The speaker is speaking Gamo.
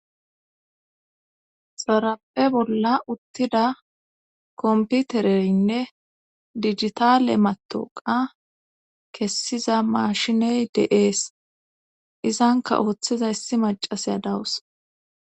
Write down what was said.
Xaraphe bolla uttida komputereynne digitale matoqa kessiza maashiney deees izanka ooththiza yssi macaseya dawus